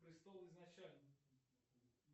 престол изначально